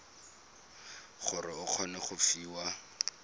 gore o kgone go fiwa